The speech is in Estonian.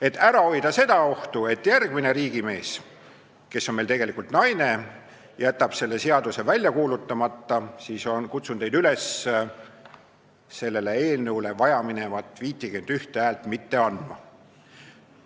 Et ära hoida ohtu, et järgmine riigimees, kes on meil tegelikult naine, jätab selle seaduse välja kuulutamata, kutsun teid üles sellele eelnõule vajaminevat 51 häält mitte andma.